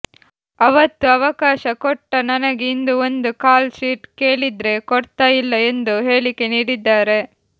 ಅವತ್ತು ಅವಕಾಶ ಕೊಟ್ಟ ನನಗೆ ಇಂದು ಒಂದು ಕಾಲ್ ಶೀಟ್ ಕೇಳಿದ್ರೆ ಕೊಡ್ತಾ ಇಲ್ಲಾ ಎಂದು ಹೇಳಿಕೆ ನೀಡಿದ್ದಾರೆ